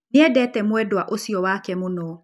Nĩ endete mwendwa ũcio wake mũno